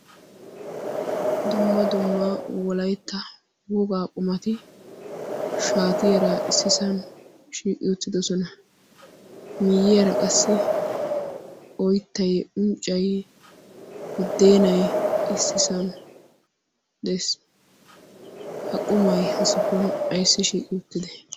dumma dumma wolaitta wogaa qumati shaatiyaara issisan shiiqi uttidosona. miiyiyaara qassi oittai unccayi guddeenai issisan de'es. ha qumay ha safuwan aissi shiiqi uttide?